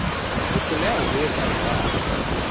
ho hloleha ho etsa jwalo